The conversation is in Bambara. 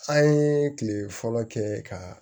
An ye kile fɔlɔ kɛ ka